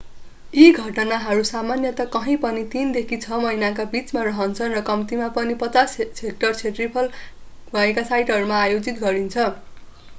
यी घटनाहरू सामान्यतया कहीँ पनि तीनदेखि छ महिनाका बिचमा रहन्छन् र कम्तिमा पनि 50 हेक्टर क्षेत्रफल भएका साइटहरूमा आयोजित गरिन्छ